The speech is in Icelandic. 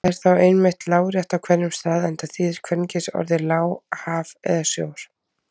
Það er þó einmitt lárétt á hverjum stað enda þýðir kvenkynsorðið lá haf eða sjór.